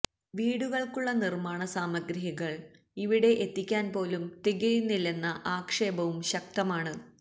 വീടുകള്ക്കുള്ള നിര്മാണ സാമഗ്രികള് ഇവിടെ എത്തിക്കാന് പോലും തികയുന്നില്ലെന്ന ആക്ഷേപവും ശക്തമാണ്